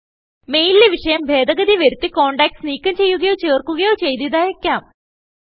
മെയിലിലെ വിഷയം ഭേദഗതി വരുത്തിcontacts നീക്കം ചെയ്യുകയോ ചേർക്കുകയോ ചെയ്ത് ഇത് അയക്കാം